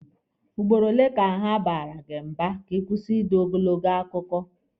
Ugboro ole ka ha baara gị mba ka ịkwụsị ide ogologo akụkọ?